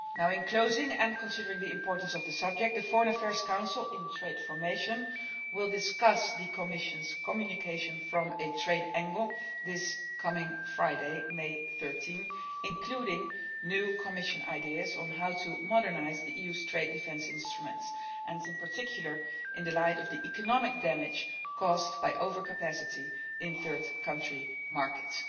In closing, and considering the importance of the subject, the Foreign Affairs Council, in trade formation, will discuss the Commission's communication from a trade angle this coming Friday May 13, including new Commission ideas on how to modernise the EU's trade defence instruments and in particular in the light of the economic damage caused by overcapacity in third country markets.